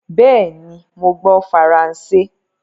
Béení! mo gbó faransé.